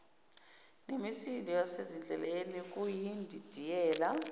nemisindo yasendleleni kuyindidiyela